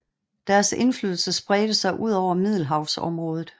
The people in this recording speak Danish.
Deres indflydelse spredte sig udover Middelhavsområdet